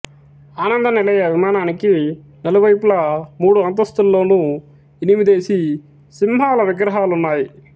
ఆనంద నిలయ విమానానికి నలువైపులా మూడు అంతస్తులలోనూ ఎనిమిదేసి సింహాల విగ్రహాలున్నాయి